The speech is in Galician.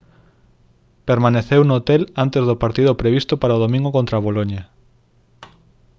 permaneceu no hotel antes do partido previsto para o domingo contra boloña